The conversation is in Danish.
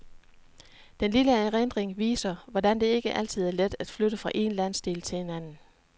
Den lille erindring viser, hvordan det ikke altid er let at flytte fra en landsdel til en anden.